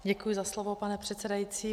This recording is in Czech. Děkuji za slovo, pane předsedající.